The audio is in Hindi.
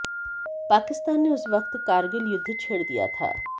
पाकिस्तान ने उस वक्त कारगिल युद्ध छेड़ दिया था